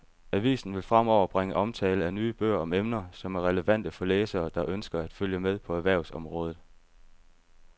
Avisen vil fremover bringe omtale af nye bøger om emner, som er relevante for læsere, der ønsker at følge med på erhvervsområdet.